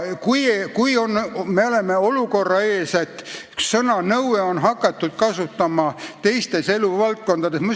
Praegu me oleme olukorra ees, kus sõna "nõue" on hakatud kasutama ka teistes eluvaldkondades.